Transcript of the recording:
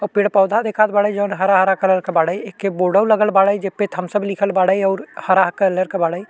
और पेड़ पौधा देखात बाड़े जॉन हरा-हरा कलर के बाड़े। एक बोअर्ड्वो लगल बाड़े जेपे थम्सअप लिखल बाड़े और हरा कलर के बाड़े।